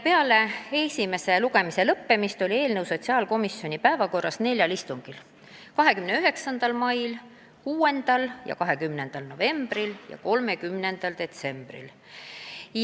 Peale esimese lugemise lõppemist oli eelnõu sotsiaalkomisjoni päevakorras neljal istungil: 29. mail, 6. ja 20. novembril ja 3. detsembril.